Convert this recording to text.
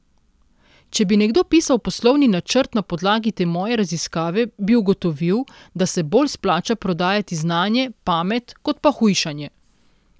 Če bi nekdo pisal poslovni načrt na podlagi te moje raziskave, bi ugotovil, da se bolj splača prodajati znanje, pamet, kot pa hujšanje.